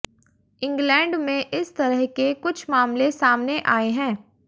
England में इस तरह के कुछ मामले सामने आए हैं